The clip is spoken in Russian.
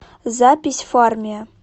запись фармия